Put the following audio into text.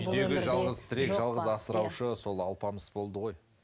үйдегі жалғыз тірек жалғыз асыраушы сол алпамыс болды ғой